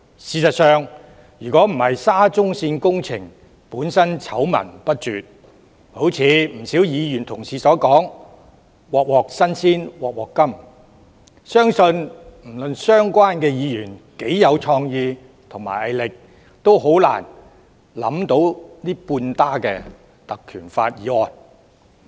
事實上，若非沙中線工程醜聞不絕，正如不少議員所說般"鑊鑊新鮮鑊鑊甘"，相信不論相關議員多有創意和毅力，也難以想出這半打根據《條例》動議的議案。